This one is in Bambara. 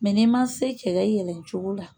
Mɛ n'i ma se cɛ ka yɛlɛ cogo la